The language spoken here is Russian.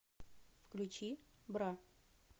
включи бра